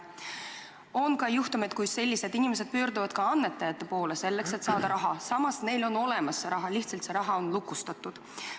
On ka juhtumeid, kui sellised inimesed pöörduvad annetajate poole, et saada raha, samas neil on see raha olemas, lihtsalt see on lukustatud.